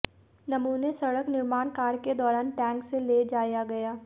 नमूने सड़क निर्माण कार्य के दौरान टैंक से ले जाया गया